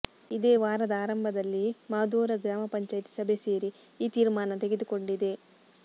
ಇದೇ ವಾರದ ಆರಂಭದಲ್ಲಿ ಮಾದೋರಾ ಗ್ರಾಮ ಪಂಚಾಯ್ತಿ ಸಭೆ ಸೇರಿ ಈ ತೀರ್ಮಾನ ತೆಗೆದುಕೊಂಡಿದೆ